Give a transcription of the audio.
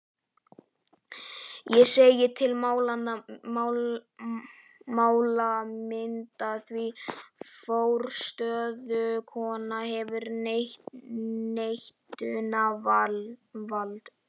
Ég segi til málamynda, því forstöðukonan hefur neitunarvald.